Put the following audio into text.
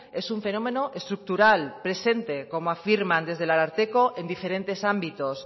es un fenómeno estructural y presente como afirman desde el ararteko en diferentes ámbitos